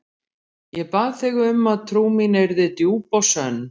Ég bað þig um að trú mín yrði djúp og sönn.